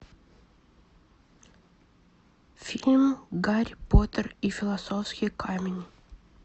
фильм гарри поттер и философский камень